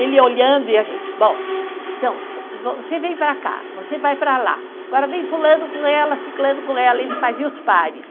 Ele olhando e a gente, bom, então, você vem para cá, você vai para lá, agora vem fulano com ela, ciclano com ela, ele fazia os pares.